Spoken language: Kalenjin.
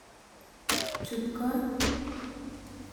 Chut kot.